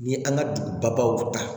Ni an ka dugubaw ta